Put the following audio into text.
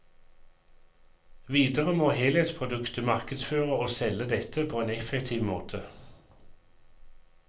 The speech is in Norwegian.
Videre må helhetsproduktet markedsføre og selge dette på en effektiv måte.